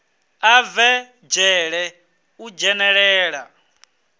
a bve dzhele u dzhenelela